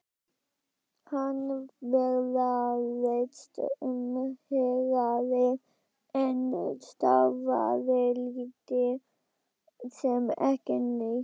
Hann ferðaðist um héraðið en starfaði lítið sem ekki neitt.